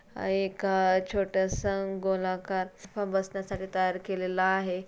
हा एका छोट्यासा गोलाकार बसण्यासाठी तयार केलेलं आहे.